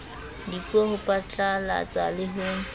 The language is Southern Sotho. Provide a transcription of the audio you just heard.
dipuo ho phatlalatsa le ho